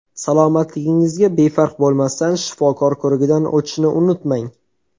Salomatligingizga befarq bo‘lmasdan, shifokor ko‘rigidan o‘tishni unutmang.